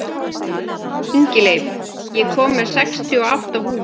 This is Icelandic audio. Ingileif, ég kom með sextíu og átta húfur!